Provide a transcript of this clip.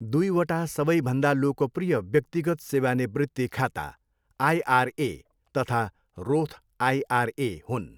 दुईवटा सबैभन्दा लोकप्रिय व्यक्तिगत सेवानिवृत्ति खाता आइआरए तथा रोथ आइआरए हुन्।